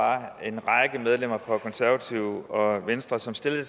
mit medlemmer fra konservative og venstre som stillede